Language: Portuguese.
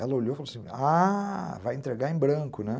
Ela olhou e falou assim, ah, vai entregar em branco, né?